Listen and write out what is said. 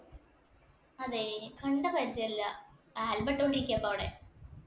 അതെ കണ്ട പരിജയല്ല. album ഇട്ടോണ്ടിരിക്കാപ്പ അവിടെ.